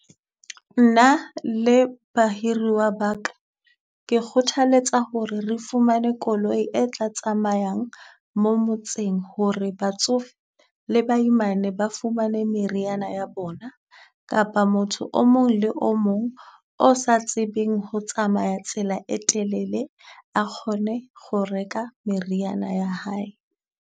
Nna le bahiriwa ba ka ke kgothaletsa ho re re fumane koloi e tla tsamayang mo motseng ho re batsofe le baimane ba fumane meriana ya bona. Kapa motho o mong le o mong o sa tsebeng ho tsamaya tsela e telele a kgone ho reka meriana ya hae.